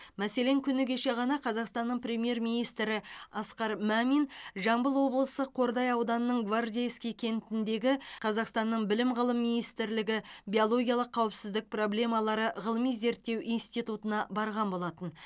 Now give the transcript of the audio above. мәселен күні кеше ғана қазақстанның премьер министрі асқар мамин жамбыл облысы қордай ауданының гвардейский кентіндегі қазақстанның білім ғылым министрлігі биологиялық қауіпсіздік проблемалары ғылыми зерттеу институтына барған болатын